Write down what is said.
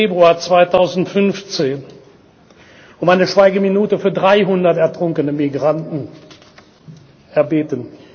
12. Februar 2015 um eine Schweigeminute für 300 ertrunkene Migranten erbeten.